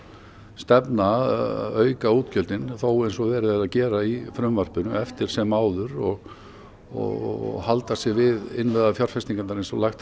stefna að auka útgjöldin þó eins og verið er að gera í frumvarpinu eftir sem áður og og halda sig við innviðafjárfestingar eins og lagt